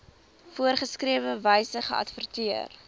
voorgeskrewe wyse geadverteer